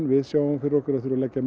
við sjáum fyrir okkur að þurfa að leggja